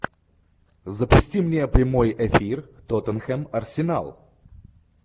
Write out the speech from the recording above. запусти мне прямой эфир тоттенхэм арсенал